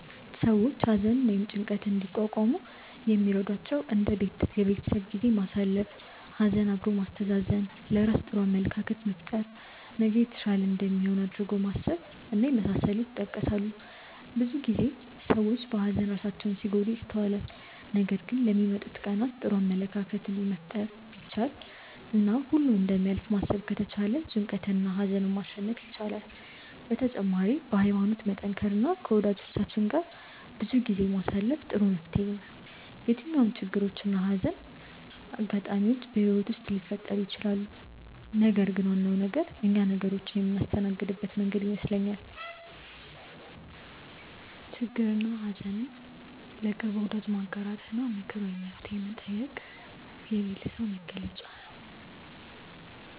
ሰዎች ሀዘንን ወይም ጭንቀትን እንዲቋቋሙ የሚረዷቸው እንደ የቤተሰብ ጊዜ ማሳለፍ፣ ሀዘን አብሮ ማስተዛዘን፣ ለራስ ጥሩ አመለካከት መፍጠር፣ ነገ የተሻለ እንደሚሆን አድርጎ ማሰብ እና የመሳሰሉት ይጠቀሳሉ። ብዙ ጊዜ ሰዎች በሀዘን ራሳቸውን ሲጎዱ ይስተዋላል ነገር ግን ለሚመጡት ቀናት ጥሩ አመለካከትን መፍጠር ቢቻል እና ሁሉም እንደሚያልፍ ማሰብ ከተቻለ ጭንቀትንና ሀዘንን ማሸነፍ ይቻላል። በተጨማሪም በሀይማኖት መጠንከር እና ከወጃጆቻችን ጋር ጊዜ ማሳለፍ ጥሩ መፍትሔ ነው። የትኛውም ችግሮች እና የሀዘን አጋጣሚዎች በህይወት ውስጥ ሊፈጠሩ ይችላሉ ነገር ግን ዋናው ነገር እኛ ነገሮችን የምናስተናግድበት መንገድ ይመስለኛል። ችግርንና ሀዘን ለቅርብ ወዳጅ ማጋራት እና ምክር ወይም መፍትሔ መጠየቅ የብልህ ሰው መገለጫ ነው።